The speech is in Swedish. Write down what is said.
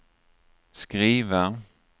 skriva